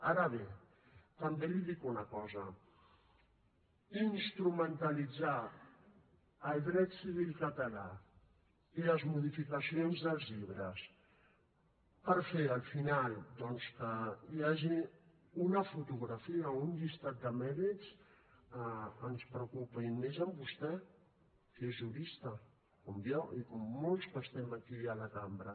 ara bé també li dic una cosa instrumentalitzar el dret civil català i les modificacions dels llibres per fer al final doncs que hi hagi una fotografia o un llistat de mèrits ens preocupa i més amb vostè que és jurista com jo i com molts que estem aquí a la cambra